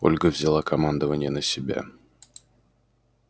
ольга взяла командование на себя